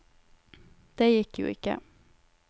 Det gikk jo ikke.